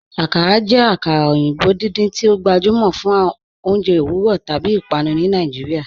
Akàrà jẹ akara oyinbo̩ dídíń tí o gbajúmọ fún ọ̀unjẹ̀ owurọ̀ tábí ìpànù ni Nàìjíríà.